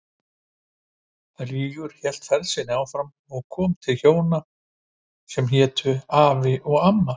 Rígur hélt ferð sinni áfram og kom til hjóna sem hétu Afi og Amma.